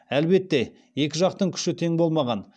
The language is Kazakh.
әлбетте екі жақтың күші тең болмаған